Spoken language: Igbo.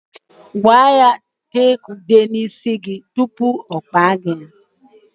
Gwa ya tee gị ude n'isi tupu ọ kpaa gị ya.